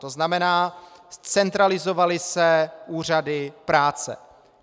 To znamená, centralizovaly se úřady práce.